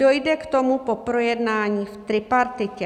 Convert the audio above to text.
Dojde k tomu po projednání v tripartitě.